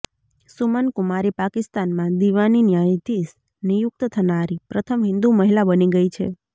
સુમન કુમારી પાકિસ્તાનમાં દીવાની ન્યાયાધીશ નિયુક્ત થનારી પ્રથમ હિંદુ મહિલા બની ગઇ છે